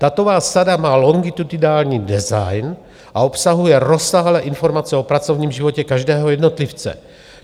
Datová sada má longitudinální design, a obsahuje rozsáhlé informace o pracovním životě každého jednotlivce.